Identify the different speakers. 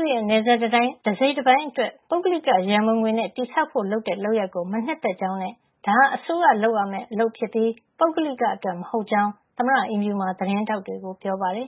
Speaker 1: ဦးရဲ့ ရှေ့နေတွေ ဆီကိုလည်း ဆက်သွယ်လို့ မရသေးပါဘူး။ သမ္မတ ထရမ့်ကတော့ သူ့ရဲ့ နယ်စပ်တံတိုင်း တစိတ်တပိုင်း အတွက် ပုဂ္ဂလိက ရန်ပုံငွေနဲ့ တည်ဆောက်ဖို့လုပ်တဲ့ လုပ်ရပ်ကို မနှစ်သက်ကြောင်းနဲ့ ဒါဟာ အစိုးရလုပ်ရမယ့်အလုပ် ဖြစ်ပြီး ပုဂ္ဂလိကအတွက် မဟုတ်ကြောင်း သမ္မတအိမ်ဖြူမှာ သတင်းထောက်တွေကို ပြောပါတယ်